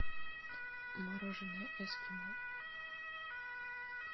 мороженое эскимо